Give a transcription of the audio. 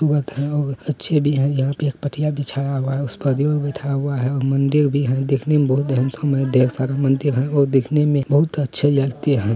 और अच्छी भी है यहाँ पे एक पटिया बिछाया हुआ है उस पर बैठाया हुआ है और मंदिर भी है दिखने में बहोत हैंडसम है ढेर सारा मंदिर है और देखने में बहोत अच्छे लगते हैं।